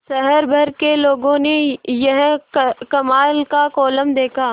शहर भर के लोगों ने यह कमाल का कोलम देखा